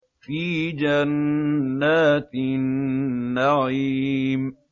فِي جَنَّاتِ النَّعِيمِ